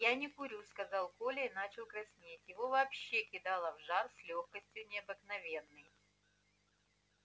я не курю сказал коля и начал краснеть его вообще кидало в жар с лёгкостью необыкновенной